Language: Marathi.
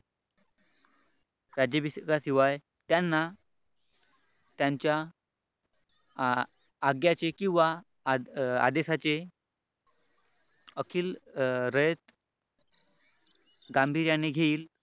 राज्याभिषेकाशिवाय त्यांना त्यांच्या आज्ञाचे किंवा आदेशाचे अखिल रयत गांभीर्याने घेईल असे